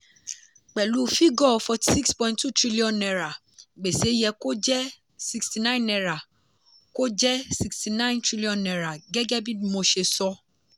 pẹ̀lú fígò forty six point two trillion naira gbèsè yẹ kó jẹ́ sixty nine naira kó jẹ́ sixty nine trillion naira gẹ́gẹ́ bí dmo ṣe sọ.